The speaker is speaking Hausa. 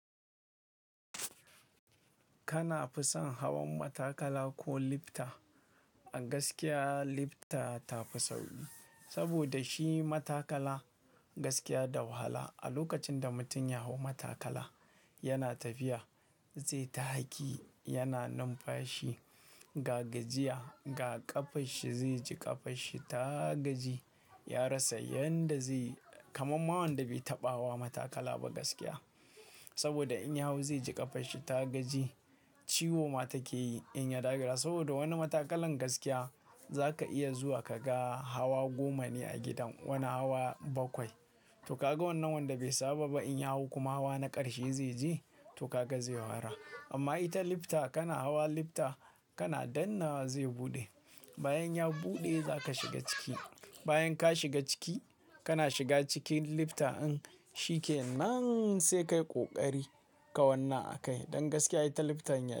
Kana fi son hawan matakala ko lifta? A gaskiya lifta ta fi sauƙi, saboda shi matakala gaskiya da wahala. A lokacin da mutum ya hau matakala, yana tafiya zai ta haki, yana numfashi, ga gajiya, ga ƙafanshi zai ji ƙafanshi ta gaji. Ya rasa yadda zai kamar ma wanda bai taɓa hawa matakala ba gaskiya. Saboda in ya hau zai ji ƙafanshi ta gaji, ciwo ma take yi in ya dakara. Saboda wani matakalan gaskiya zaka iya zuwa ka ga hawa goma ne a gidan, wani hawa bakwai. To ka ga wannan wanda bai saba ba in ya hau kuma hawa na ƙarshe zai je, to ka ga zai yi wahala. Amma ita lifta kana hawa lifta kana danna zai buɗe. Bayan ya buɗe za ka shiga ciki. Bayan ka shiga ciki, kana shiga cikin lifta in shi ke nan sai ka yi ƙoƙari ka wanna a kai. Don gaskiya ita lifta yan.